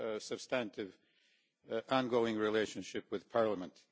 substantive ongoing relationship with Parliament.